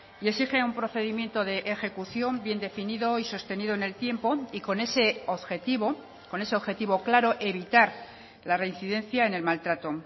y exige un procedimiento de ejecución bien definido y sostenido en el tiempo y con ese objetivo con ese objetivo claro evitar la reincidencia en el maltrato